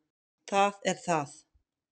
Það er það